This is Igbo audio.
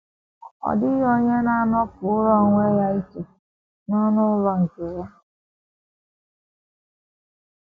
Ọ dịghị onye na - anọpụrụ um onwe ya iche n’ọnụ um ụlọ nke um ya.